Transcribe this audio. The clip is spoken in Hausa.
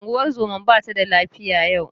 Ungozomar ba tada lafiya yau.